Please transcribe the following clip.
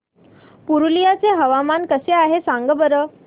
पुरुलिया चे हवामान कसे आहे सांगा बरं